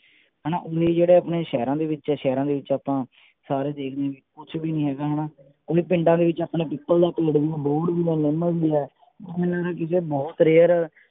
ਹਨਾ ਇਹ ਜਿਹੜੇ ਆਪਣੇ ਸ਼ਹਿਰਾਂ ਦੇ ਵਿਚ ਹੈ ਸ਼ਹਿਰਾਂ ਦੇ ਵਿਚ ਆਪਾਂ ਸਾਰੇ ਦੇਖ ਲੋ ਕੁਛ ਵੀ ਨਹੀ ਹੇਗਾ ਹਣਾ ਪਿੰਡਾ ਦੇ ਵਿਚ ਆਪਣੇ ਪਿੱਪਲ ਦਾ ਪੇੜ ਵੀ ਹੈ ਬੋਹੜ ਵੀ ਹੈ ਨਿੱਮ ਵੀ ਹੈ ਬਹੁਤ rare